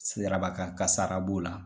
Sirabakankasara b'o la,